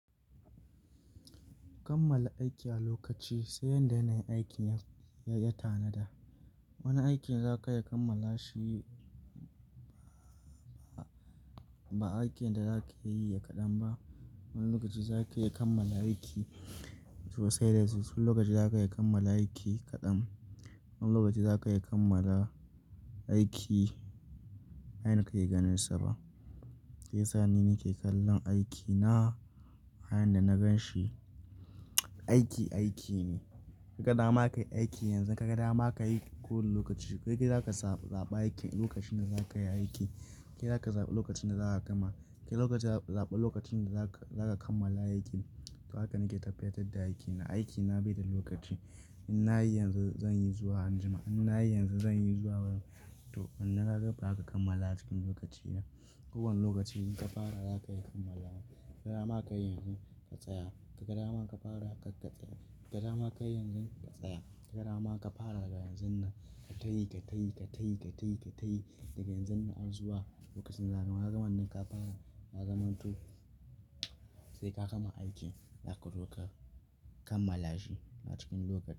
Kammala aiki a lokaci sai yadda yanayin aikin ya tanada. Wani aikin za ka iya kammala shi ba aikin da za ka iya yi ya kaɗan ba. Wani lokaci za ka iya kammala aiki to sai da zuci. Wani lokaci za ka iya kammala aiki kaɗan. Wani lokaci za ka iya kammala aiki, a yanda kake ganinsa ba. Sai ya sani ni ke kallon aikina. A yanda na gan shi. Aiki, aiki ne. Ka ga dama ka yi aiki yanzu, ka ga dama ka yi kowane lokaci. Kai ka yi za ka zaɓi lokacin da za ka yi aiki. Kai za ka zaɓi lokacin da za a gama. Kai lokaci zaɓa lokacin da za ka kammala aikin. To haka nake tafiyar da aikina. Aiki na bai da lokaci. In na yi yanzu, zan yi zuwa anjima. In na yi yanzu, zan yi zuwa ran. To in na karɓa haka kammala a cikin lokaci na. Kowane lokaci inka fara za ka iya kammala. Ka ga dama ka yi yanzu ka tsaya. Ka ga dama ka fara haka ka tsaya. Ka ga dama ka yi yanzu ka tsaya. Ka ga dama ka fara daga yanzun nan. Ka tayi, ka tayi, ka tayi, ka tayi, ka tayi daga yanzun nan har zuwa lokacin da zan gama. Nan ka fara na gama to sai ka gama aikin. Zaka zo ka kammala shi a cikin lokaci.